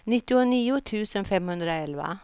nittionio tusen femhundraelva